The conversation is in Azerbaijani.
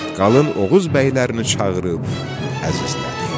Qalın Oğuz bəylərini çağırıb əzizlədi.